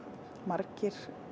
margir